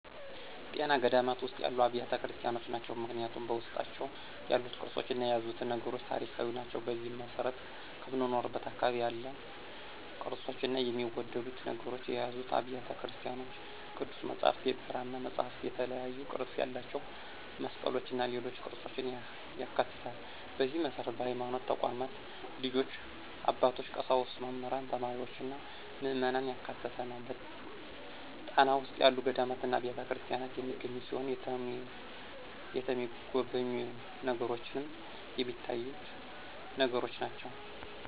ጣና ገዳማት ውስጥ ያሉ አብያተ ክርስቲያኖች ናቸው። ምክንያቱም በውስጣቸው ያሉት ቅርሶችና የያዙት ነገሮች ታሪካዊ ናቸው። በዚህም መሰረት ከምኖርበት አካባቢ ያሉ ቅርፆችና የሚወደዱ ነገሮችን የያዙ አብያተ ቤተክርስቲያኖች ቅዱስ መፅሐፍት፣ የብራና መፅሐፍትእና የተለያዩ ቅርፅ ያላቸው መስቀሎችና ሌሎች ቅርፆችን ያካትታል፣ በዚህ መሰረት በሀይማኖት ተቋማት ልጆች፣ አባቶች፣ ቀሳውስት፣ መምህራን፣ ተማሪዎችና ምዕመናን ያካተተ ነው። ጣና ውስጥ ያሉ ገዳማትና አብያተክርስቲያናት የሚገኙ ሲሆን የተሚጎበኙ ነገሮችንም ሚታዩትን ነገሮች ናቸው።